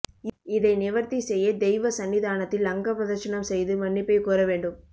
இதை நிவர்த்தி செய்ய தெய்வ சன்னிதானத்தில் அங்க பிரதட்சனம் செய்து மன்னிப்பை கோர வேண்டும்